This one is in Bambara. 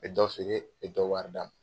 E be dɔ feere e be dɔ warida